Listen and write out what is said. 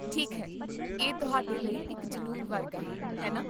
ਠੀਕ ਹੈ, ਇਹ ਤੁਹਾਡੇ ਲਈ ਇੱਕ ਜਨੂੰਨ ਵਰਗਾ ਹੈ, ਹੈ ਨਾ?